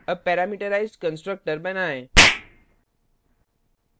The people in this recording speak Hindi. अब parameterized constructor बनाएँ